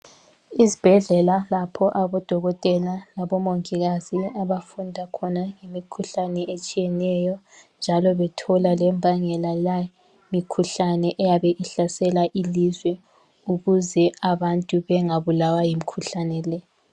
Izibhedlela lapho abodokotela labo mongikazi abafunda khona imikhuhlane etshiyeneyo njalo bethola lembangela yale mikhuhlane eyabe ihlasela ilizwe ukuze abantu bengabulawa yimikhuhlane le.